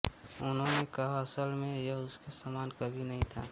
उन्होंने कहा असल में यह उसके समान कभी नहीं था